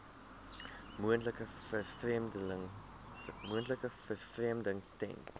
moontlike vervreemding ten